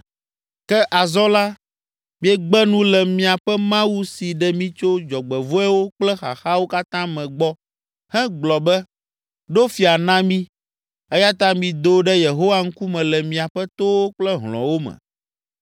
Ke, azɔ la, miegbe nu le miaƒe Mawu si ɖe mi tso dzɔgbevɔ̃ewo kple xaxawo katã me gbɔ hegblɔ be, ‘Ɖo fia na mí!’ Eya ta mido ɖe Yehowa ŋkume le miaƒe towo kple hlɔ̃wo me.”